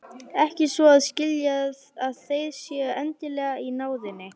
Ekki svo að skilja að þeir séu endilega í náðinni.